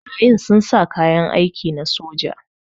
Barayin sun sa kayan aiki na soja.